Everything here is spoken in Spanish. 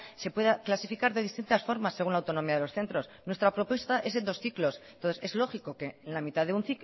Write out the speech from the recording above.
se pueda clasificar de distintas formas según la autonomía de los centros nuestra propuesta es en dos ciclos entonces es lógico que